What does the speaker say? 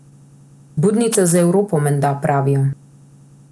Budnica za Evropo, menda, pravijo.